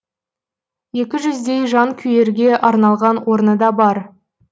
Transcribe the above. екі жүздей жанкүйерге арналған орны да бар